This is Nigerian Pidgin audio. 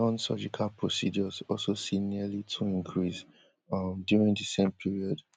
nonsurgical procedures also see nearly two increase um during di same period